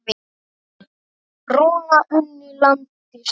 Rúna unni landi sínu.